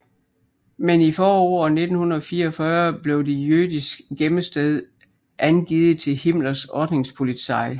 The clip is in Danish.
Men i foråret 1944 blev det jødiske gemmested angivet til Himmlers Ordnungspolizei